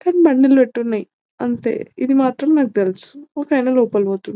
కానీ బండిల పెట్టి ఉన్నాయి అంతే ఇది మాత్రం నాకు తెలుసు ఒక ఆయన లోపలికి పోతుండు --